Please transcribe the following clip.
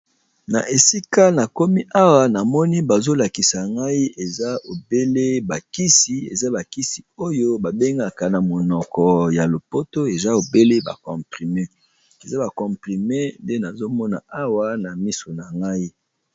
Na esika na komi awa na moni bazolakisa ngai eza ebele, bakisi eza bakisi oyo babengaka na monoko ya lopoto eza obele ba comprime eza bacomprime nde nazomona awa na miso na ngai.